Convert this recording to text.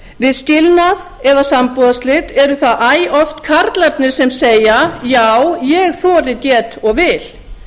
við skilnað eða sambúðarslit eru það æ oft karlarnir sem segja já ég þori get og vil